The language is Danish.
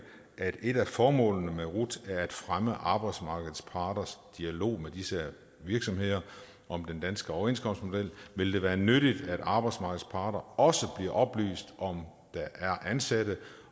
at et af formålene med rut er at fremme arbejdsmarkedets parters dialog med disse virksomheder om den danske overenskomstmodel vil det være nyttigt at arbejdsmarkedets parter også bliver oplyst om om der er ansatte